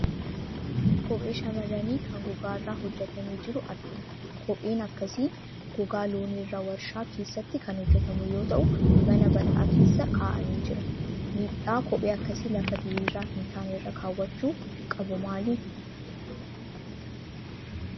Kophee shamarranii kan gogaa irraa hojjjetamee jiru argina. Kopheen akkasii gogaa loonii irraa waarshaa keessatti kan hojjetamu yoo ta'u, mana bal'aa keessa kaa'amee jira. Miidhaa kophee akkasii lafa diriiraa hin taane irra kaa'achuun qabu maali?